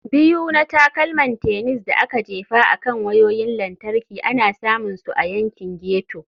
Biyu na Takalman Tennis da aka Jefa akan Wayoyin Lantarki ana samun su a yankin ghetto.